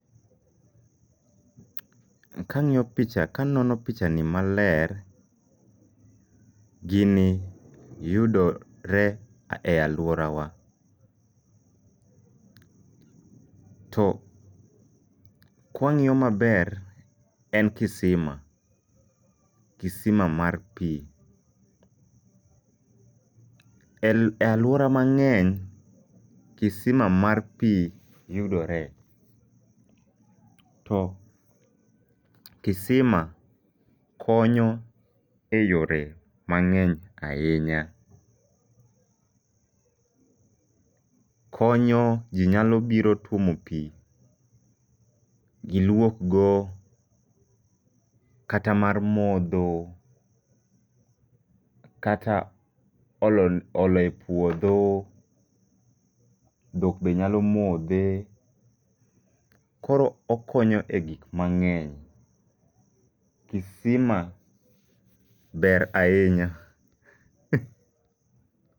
Kang'iyo picha kanono picha ni maler, gini yudo re e alwora wa. To kwang'iyo maber en kisima, kisima mar pi. E alwora mang'eny kisima mar pi yudore, to kisima konyo e yore mang'eny ahinya. Konyo ji nyalo biro twomo pi, gilwok go kata mar modho, kata olo olo e puodho, dhok be nyalo modhe. Koro okonyo e gik mang'eny, kisima ber ahinya.